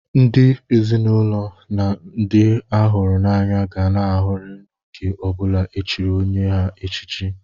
Ndị ezinụlọ na ndị a hụrụ n'anya ga ṅụrịa n'oge ọbụla e chiri onye ha echichi.